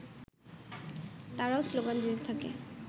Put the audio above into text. তারাও স্লোগান দিতে থাকে